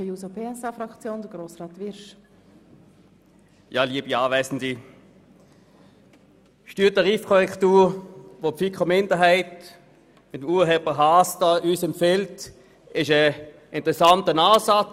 Die Steuertarifkorrektur, welche die FiKo-Minderheit mit Urheber Grossrat Haas empfiehlt, ist ein interessanter Ansatz.